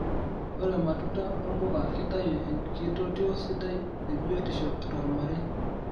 Ore matunda wompuka kitayu enkitotio sidai ebiotisho tomarei.